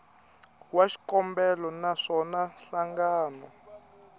wa xikombelo na swona nhlangano